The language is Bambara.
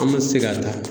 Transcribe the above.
An ma se ka taa